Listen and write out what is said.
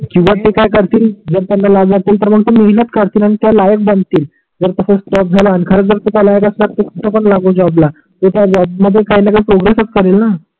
किवा ते काय करतील जर त्यांना लाज वाटेल तर मग ते महिणत करतील आणि त्या लायक बनतील जर तसच त्याग झाला आणि खरच जर त्या लायक असतात तर कुठ पण लागून जॉबलाल ते त्या जॉब मध्ये काही णा काही प्रोग्रेसच करेलणा